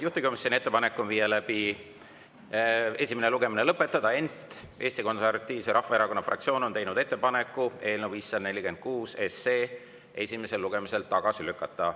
Juhtivkomisjoni ettepanek on esimene lugemine lõpetada, ent Eesti Konservatiivse Rahvaerakonna fraktsioon on teinud ettepaneku eelnõu 546 esimesel lugemisel tagasi lükata.